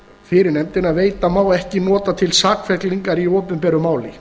fyrir nefndina veita má ekki nota til sakfellingar í opinberu máli